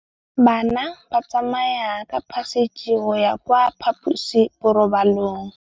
Bana ba tsamaya ka phašitshe go ya kwa phaposiborobalong.